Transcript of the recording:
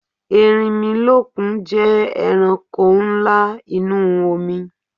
Erinmilọ́kun jẹ́ ẹranko ńlá inú omi